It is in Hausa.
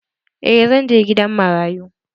Eh zan je gidan marayu.